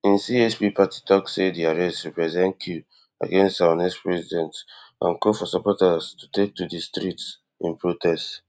im chp party tok say di arrest represent coup against our next president and call for supporters to take to di streets in protest